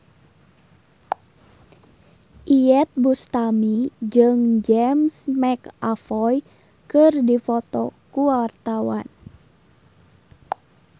Iyeth Bustami jeung James McAvoy keur dipoto ku wartawan